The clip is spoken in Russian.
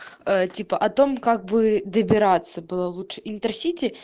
типа о том как бы добираться было лучше интер сити